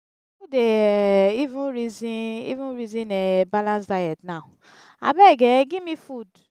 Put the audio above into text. who dey um even resin even resin um balance diet now? abeg um give me food.